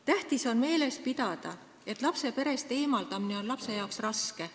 Tähtis on meeles pidada, et lapse perest eemaldamine on lapsele raske.